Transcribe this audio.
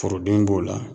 Foroden b'o la